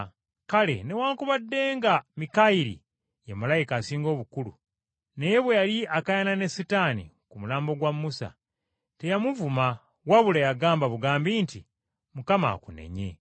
Kale newaakubadde nga Mikayiri, ye malayika asinga obukulu, naye bwe yali akaayana ne Setaani ku mulambo gwa Musa, teyamuvuma wabula yagamba bugambi nti, “Mukama akunenye!”